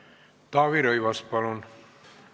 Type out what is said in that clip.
Taavi Rõivas, palun!